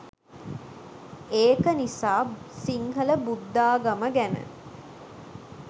ඒකනිසා සිංහල බුද්දාගම ගැන